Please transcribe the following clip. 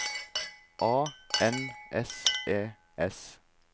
A N S E S